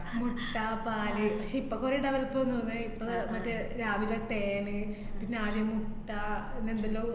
മുട്ട പാല് ഇപ്പോ കൊറേ develop വന്നൂന്നേ. ഇപ്പ ദ മറ്റേ രാവിലെ തേന്, നാല് മുട്ട ന്നെന്തെല്ലോ